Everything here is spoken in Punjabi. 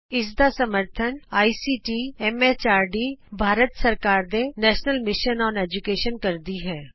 ਇਸ ਦਾ ਸਮਰੱਥਨ ਆਈਸੀਟੀ ਐਮ ਐਚਆਰਡੀ ਭਾਰਤ ਸਰਕਾਰ ਦੇ ਨੈਸ਼ਨਲ ਮਿਸ਼ਨ ਅੋਨ ਏਜੂਕੈਸ਼ਨ ਕਰਦੀ ਹੈ